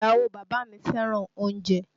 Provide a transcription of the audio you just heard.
Ìyàwó bàbá mi fẹ́ràn oúnjẹ